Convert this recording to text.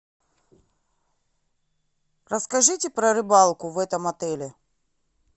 расскажите про рыбалку в этом отеле